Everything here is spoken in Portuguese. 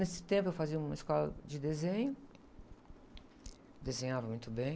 Nesse tempo eu fazia uma escola de desenho, desenhava muito bem.